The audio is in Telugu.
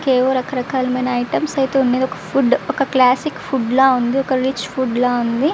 కేవలమ రక రకాల ఐటమ్స్ అయతె వున్నాయ్. ఒక ఫుడ్ క్లాసిక్ ఫుడ్ ల వుంది. ఒక రిచ్ ఫుడ్ ల వుంది.